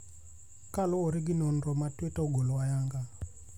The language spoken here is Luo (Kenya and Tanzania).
kaluwore gi nonro ma Twitter ogolo ayanga.